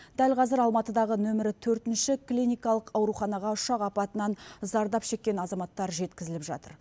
дәл қазір алматыдағы нөмірі төртінші клиникалық ауруханаға ұшақ апатынан зардап шеккен азаматтар жеткізіліп жатыр